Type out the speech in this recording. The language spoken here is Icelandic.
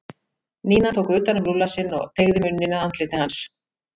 Nína tók utan um Lúlla sinn og teygði munninn að andliti hans.